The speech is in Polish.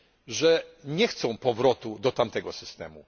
że nie chcą powrotu do tamtego systemu.